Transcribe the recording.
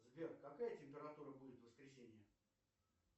сбер какая температура будет в воскресенье